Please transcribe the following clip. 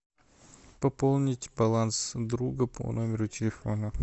пополнить баланс друга по номеру телефона